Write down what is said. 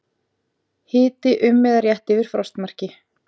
Hiti um eða rétt yfir frostmarki